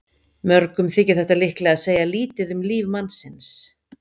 Mörgum þykir þetta líklega segja lítið um líf mannsins.